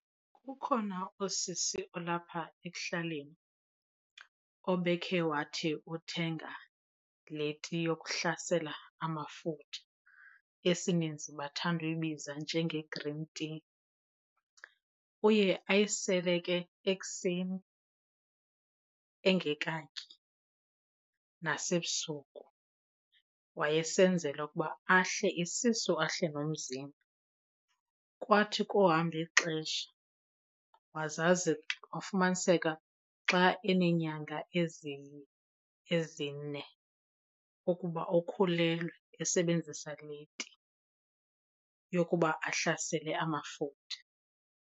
Kukhona usisi olapha ekuhlaleni obekhe wathi uthenga le tea yokuhlasela amafutha, esininzi bathanda uyibiza njenge-green tea. Uye ayisele ke ekuseni engekatyi nasebusuku. Wayesenzela ukuba ahle isisu ahle nomzimba. Kwathi kohamba ixesha wazazi kwafumaniseka xa eneenyanga ezine ukhulelwe esebenzisa le tea yokuba ahlasele amafutha.